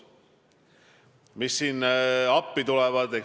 Mis siin appi tulevad?